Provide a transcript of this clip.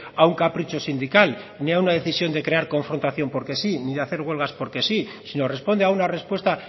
a un capricho sindical ni a una decisión de crear confrontación porque sí ni de hacer huelgas porque sí sino responde a una respuesta